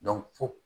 fo